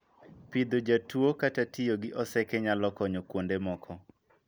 Pidho ja tuo kata tiyo gi oseke nyalo konyo kuonde moko.